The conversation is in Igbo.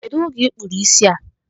Kedụ oge I kpụrụ isi a?